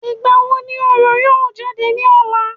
Ìgbà wo ni orò yóò jáde ní ọ̀la?